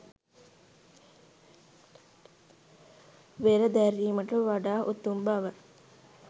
වෙර දැරීමට වඩා උතුම් බව.